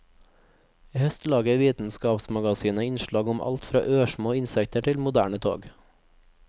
I høst lager vitenskapsmagasinet innslag om alt fra ørsmå insekter til moderne tog.